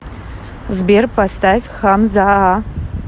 сбер поставь хамзаа